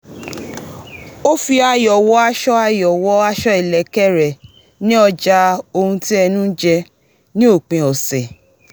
ó fi ayò̩ wọ aṣọ ayò̩ wọ aṣọ ìlékè re ní ọjà ohun tí ẹnu ń jẹ ní òpin ọ̀sẹ̀